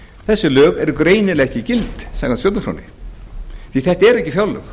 þessi lög eru greinilega ekki gild samkvæmt stjórnarskránni því að þetta eru ekki fjárlög